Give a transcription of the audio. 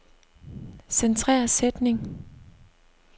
Centrer sætning.